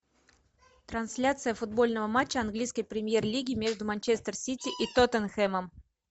трансляция футбольного матча английской премьер лиги между манчестер сити и тоттенхэмом